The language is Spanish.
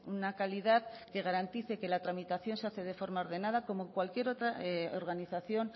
una calidad que garantice que la tramitación se hace de forma ordenada como cualquier otra organización